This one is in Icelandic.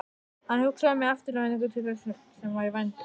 Hann hugsaði með eftirvæntingu til þess sem var í vændum.